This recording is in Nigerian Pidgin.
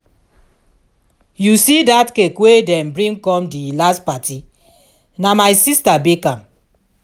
you see dat cake wey dem bring come di last party? na my sister bake am